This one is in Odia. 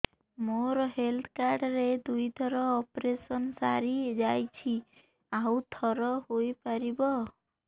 ମୋର ହେଲ୍ଥ କାର୍ଡ ରେ ଦୁଇ ଥର ଅପେରସନ ସାରି ଯାଇଛି ଆଉ ଥର ହେଇପାରିବ